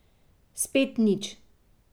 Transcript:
Spet nič.